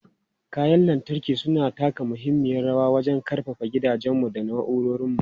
Kayan lantarki suna taka muhimmiyar rawa wajen ƙarfafa gidajenmu da na'urorinmu.